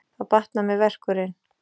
Þá batnar mér verkurinn.